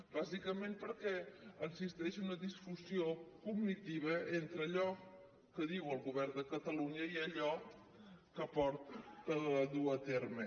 bàsicament perquè existeix una disfunció cognitiva entre allò que diu el govern de catalunya i allò que duu a terme